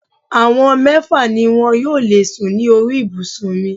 Àwọn mẹ́fà ni wọn yóò lè sùn ní orí ibùsùn mi